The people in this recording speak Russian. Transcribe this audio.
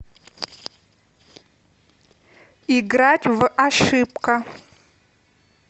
играть в ошибка